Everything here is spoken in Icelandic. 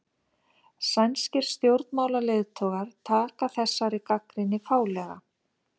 Sænskir stjórnmálaleiðtogar taka þessari gagnrýni fálega